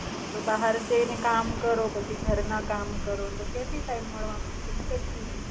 નહીતો બહાર જાયને કામ કરો પછી ઘરના કામ કરો તો ક્યાંથી ટાઇમ માલવાનો છે ને પછી.